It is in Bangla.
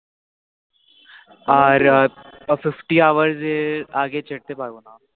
আর Fifty hours আগে ছাড়তে পারবো না